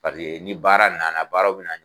Paseke ni baara na na baaraw bɛ na